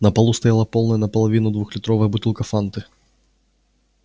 на полу стояла полная наполовину двухлитровая бутылка фанты